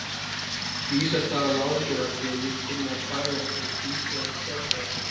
Vísast hafði hann áhyggjur af því að ég kynni að fæla einhverja tvístígandi sjálfstæðismenn.